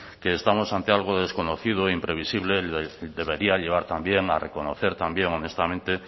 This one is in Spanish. que estamos ante algo desconocido e imprevisible debería llevar también a reconocer también honestamente